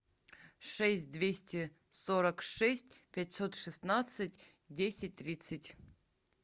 шесть двести сорок шесть пятьсот шестнадцать десять тридцать